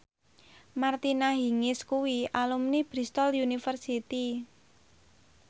Martina Hingis kuwi alumni Bristol university